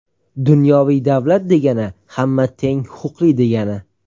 Dunyoviy davlat degani hamma teng huquqli degani.